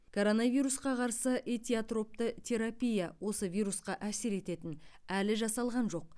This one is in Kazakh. коронавирусқа қарсы этиотропты терапия осы вирусқа әсер ететін әлі жасалған жоқ